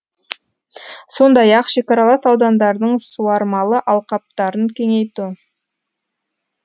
сондай ақ шекаралас аудандардың суармалы алқаптарын кеңейту